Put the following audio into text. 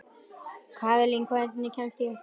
Kaðlín, hvernig kemst ég þangað?